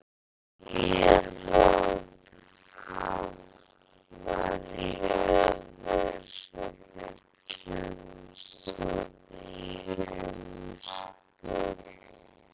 Ef Írland hafnar í öðru sæti kemst það í umspil.